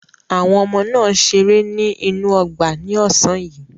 Àwọn ọmọ náà ṣeré ní inú ọgbà ní ọ̀sán yìí.